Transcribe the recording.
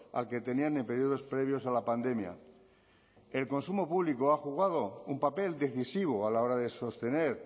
al que tenían en periodos previos a la pandemia el consumo público ha jugado un papel decisivo a la hora de sostener